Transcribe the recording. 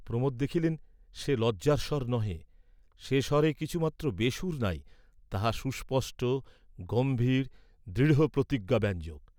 প্রমোদ দেখিলেন সে লজ্জার স্বর নহে, সে স্বরে কিছুমাত্র বেসুর নাই, তাহা সুস্পষ্ট, গম্ভীর, দৃঢ় প্রতিজ্ঞাব্যঞ্জক।